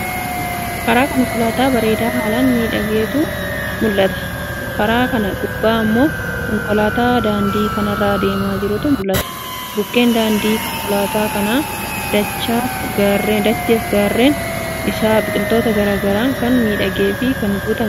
Karaa konkolaata bareeda haalan miidhaguutu mul'ataa. Karaa kana gubba ammo konkolaata daandii kanarra adeema jiruutu mul'ata. Bukkeen daandii(karaa) konkolaata kana, dachaf gaarren isaa, biqiloota garagaraan kan miidhageef, kan guutameedha. Akkasumallee, iddoo nama hawwatuudha.